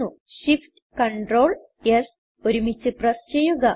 shiftctrls ഒരുമിച്ച് പ്രസ് ചെയ്യുക